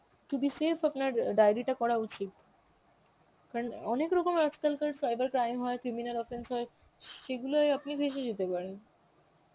to be safe আপনার diary টা করা উচিত, কারণ অনেক ওরকম আজকালকার cyber crime হয় criminal offence হয় সেগুলোই আপনি ফেঁসে যেতে পারেন.